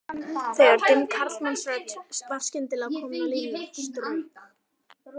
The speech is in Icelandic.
Þegar dimm karlmannsrödd var skyndilega komin á línuna strauk